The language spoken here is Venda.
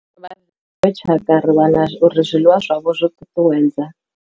dziṅwe tshakha ri wana uri zwiḽiwa zwavho zwo ṱuṱuwedzwa.